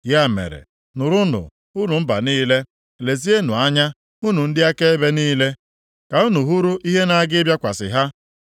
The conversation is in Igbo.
Ya mere, nụrụnụ, unu mba niile; lezienụ anya, unu ndị akaebe niile, ka unu hụrụ ihe na-aga ịbịakwasị ha.